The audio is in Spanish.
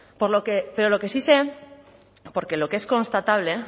pero lo que sí sé porque lo que es constatable